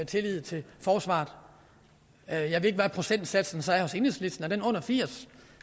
tillid til forsvaret jeg jeg ved ikke hvad procentsatsen så er hos enhedslisten er den under 80